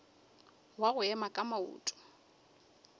wa go ema ka maoto